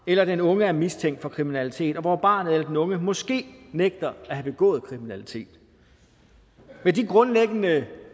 eller den unge er mistænkt for kriminalitet og hvor barnet eller den unge måske nægter at have begået kriminalitet med de grundlæggende